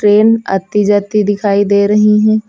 Train आती जाती दिखाई दे रही हैं।